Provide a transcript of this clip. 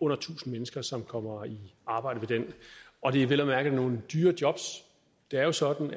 under tusind mennesker som kommer i arbejde ved den og det er vel at mærke nogle dyre jobs det er jo sådan